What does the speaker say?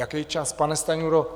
Jaký čas, pane Stanjuro...